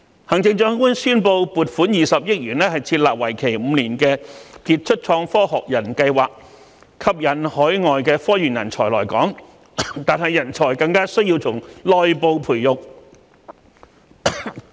行政長官宣布撥款20億元設立為期5年的傑出創科學人計劃，吸引海外科研人才來港，但我們更需要在內部培育人才。